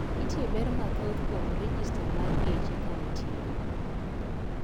Nitiere ber mathoth kuom rejesta mar geche kanitiere?